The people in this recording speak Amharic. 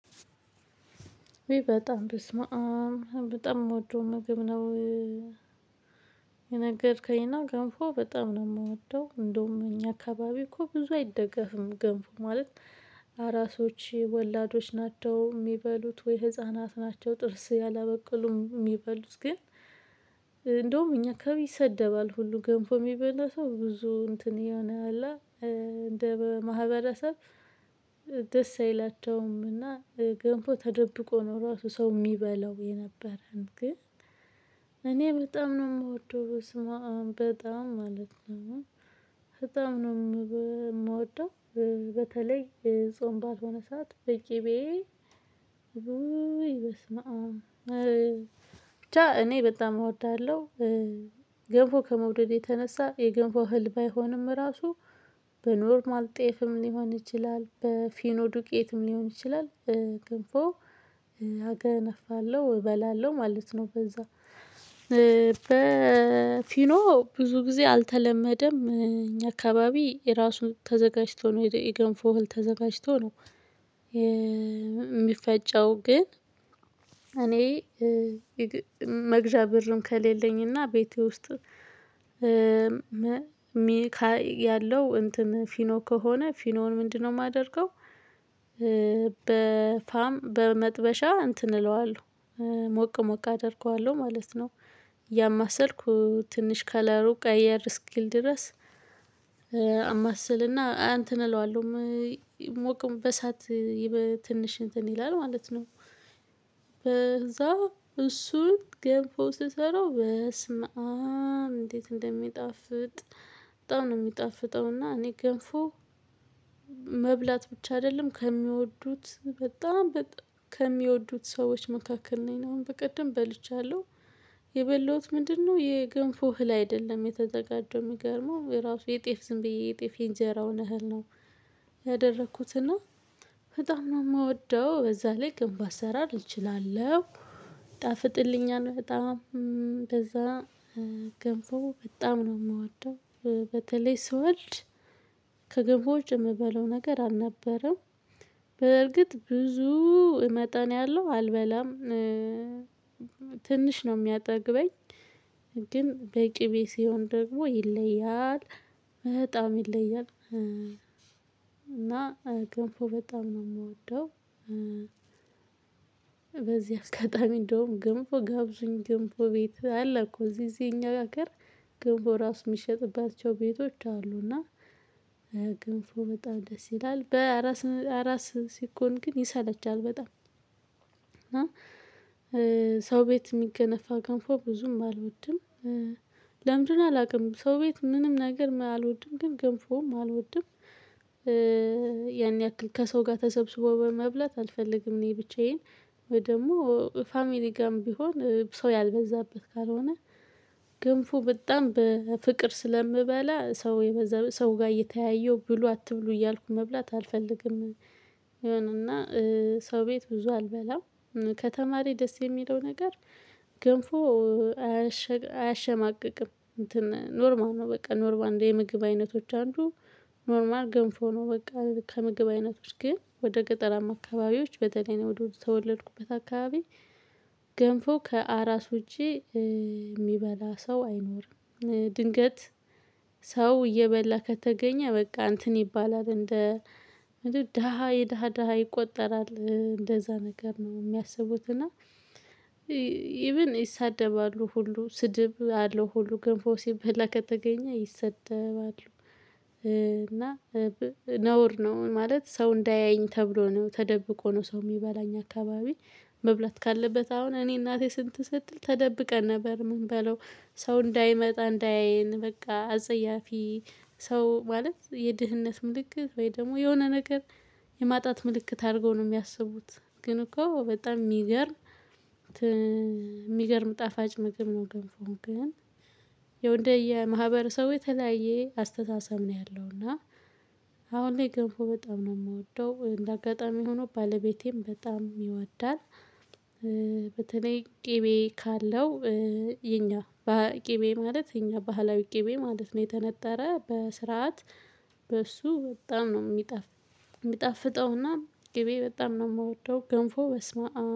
በጣም በስመአም በጣም ምወደው ምግብ ነው። የነገርከኝና ገንፎ በጣም ነው የምወደው እንደውም እኛ አካባቢ እኮ ብዙ አይደገፍም። ገንፎ ማለት አራሶች ወላዶች ናቸው የሚበሉት ወይ ህፃናት ናቸው። ጥርስ ያላበቀሉም የሚበሉት ግን። እንደውም እኛ ከቤት ይሰደባል ሁሉ ገንፎ የሚበላ ሰው ብዙ እንትን የሆነ አለ። እንደ ማህበረሰብ ደስ አይላቸውም። እና ገንፎ ተደብቆ ነው ራሱ ሰው የሚበላው የነበረን ግን። እኔ በጣም ነው የምወደው በስመአም በጣም ማለት ነው። በጣም ነው የምበ የምወደው። በተለይ ጾም ባልሆነ ሰዓት በቂቤ በስመአም ብቻ እኔ በጣም እወዳለሁ። ገንፎ ከመውደድ የተነሳ የገንፎ እህል ባይሆንም ራሱ በኖርማል ጤፍም ሊሆን ይችላል በፊኖዱቄትም ሊሆን ይችላል። ገንፎ አገነፋለሁ እበላለሁ ማለት ነው። በዛ በፊኖ ብዙ ጊዜ አልተለመደም። እኛ አካባቢ የራሱን ተዘጋጅቶ ነው የገንፎ እህል ተዘጋጅቶ ነው። የሚፈጨው ግን እኔ የገ መግዣ ብርም ከሌለኝና ቤቴ ውስጥ ያለው እንትን ፊኖ ከሆነ ፊኖውን ምንድነው የማደርገው? በመጥበሻ እንትን እለዋለሁ። ሞቅ ሞቅ አደርገዋለሁ ማለት ነው። እያማሰልኩ ትንሽ ከለሩ ቀየር እስኪል ድረስ። አማስልና እንተን እለዋለሁ ምይሞቅም በሰአት ይበ ትንሽ እንትን ይላል ማለት ነው። በዛ እሱን ገንፎ ስሰራው በስመአብ እንዴት እንደሚጣፍጥ። በጣም ነው የሚጣፍጠውና እኔ ገንፎ። መብላት ብቻ አይደለም ከሚወዱት በጣም በጣ ከሚወዱት ሰዎች መካከል ነኝ እና አሁን በቀደም በልቻለሁ። የበላሁት ምንድነው የገንፎ እህል አይደለም የተዘጋጀው የሚገርመው የራሱ የጤፍ ዝም ብዬ የጤፍ የእንጀራውን እህል ነው። ያደረኩትና በጣም ነው የምወደው በዛ ላይ ገንፎ አሰራር እችላለሁ። ይጣፍጥልኛል በጣም በዛ ገንፎ በጣም ነው የምወደው። በተለይ ስወልድ ከገንፎ ውጪ የምበለው ነገር አልነበረም። በርግጥ ብዙ መጠን ያለው አልበላም። ትንሽ ነው የሚያጠግበኝ። ግን በቂቤ ሲሆን ደግሞ ይለያል በጣም ይለያል እና ገንፎ በጣም ነው የምወደው። በዚህ አጋጣሚ እንደውም ገንፎ ጋብዙኝ ገንፎ ቤት አለ እኮ እዚህ እዚህ እኛ ሀገር። ገንፎ ራሱ የሚሸጥባቸው ቤቶች አሉ። እና ገንፎ በጣም ደስ ይላል በራስ አራስ ሲኮን ግን ይሰለቻል በጣም። እና ሰው ቤት የሚገነፋ ገንፎ ብዙም አልወድም። ለምን እንደሆነ አላውቅም። ሰው ቤት ምንም ነገር አልወድም ግን ገንፎም አልወድም። ያን ያክል ከሰው ጋር ተሰብስቦ በመብላት አልፈልግም እኔ ብቻዬን። ወይ ደግሞ ፋሚሊ ጋርም ቢሆን ሰው ያልበዛበት ካልሆነ ገንፎ በጣም በፍቅር ስለምበላ ሰው የበዛ ሰው ጋር እየተያየው ብሎ አትብሉ እያልኩ መብላት አልፈልግም። የሆነ እና ሰው ቤት ብዙ አልበላም። ከተማ ላይ ደስ የሚለው ነገር ገንፎ አያሸግ አያሸማቅቅም እንትን ኖርማል ነው በቃ ኖርማል እንደ የምግብ አይነቶች አንዱ። ኖርማል ገንፎ ነው በቃ ከምግብ አይነቶች ግን ወደ ገጠራማ አካባቢዎች በተለይ እኔ ወደ ተወለድኩበት አካባቢ። ገንፎ ከአራስ ውጪ የሚበላ ሰው አይኖርም። ድንገት ሰው እየበላ ከተገኘ በቃ እንትን ይባላል እንደ ደሃ የደሃ ደሃ ይቆጠራል። እንደዛ ነገር ነው የሚያስቡት እና ኢቭን ይሳደባሉ ሁሉ ስድብ አለው ሁሉ ገንፎ ሲበላ ከተገኘ ይሰደባሉ። እና ነውር ነው ማለት ሰው እንዳያየኝ ተብሎ ነው ተደብቆ ነው ሰው የሚበላ እኛ አካባቢ። መብላት ካለበት አሁን እኔ እናቴ ስንት እንትን ስትል ተደብቀን ነበር ምንበላው። ሰው እንዳይመጣ እንዳያየን በቃ አጸያፊ ሰው ማለት የድህነት ምልክት ወይ ደግሞ የሆነ ነገር። የማጣት ምልክት አድርገው ነው የሚያስቡት። ግን እኮ በጣም የሚገርም ት የሚገርም ጣፋጭ ምግብ ነው። ገንፎ ግን ያው እንደየ ማህበረሰቡ የተለያየ አስተሳሰብ ነው ያለው። እና አሁን ላይ ገንፎ በጣም ነው የምወደው እንደ አጋጣሚ ሆኖ ባለቤቴም በጣም ይወዳል። በተለይ ቅቤ ካለው። የኛ ባ ቅቤ ማለት የኛ ባህላዊ ቅቤ ማለት ነው የተነጠረ በስርዓት። በሱ በጣም ነው ሚጣፍ። የሚጣፍጠውና ቅቤ በጣም ነው የምወደው ገንፎ በስመአም